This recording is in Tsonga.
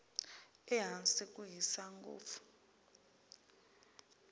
ehansi ku hisa ngopfu